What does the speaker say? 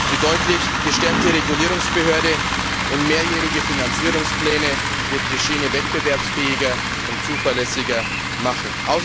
Die deutlich gestärkte Regulierungsbehörde und mehrjährige Finanzierungspläne werden die Schiene wettbewerbsfähiger und zuverlässiger machen.